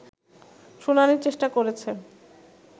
শুনানির চেষ্টা করেছে